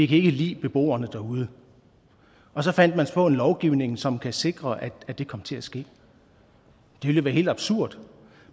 kan ikke lide beboerne derude og så fandt man på en lovgivning som kunne sikre at det kom til at ske det ville være helt absurd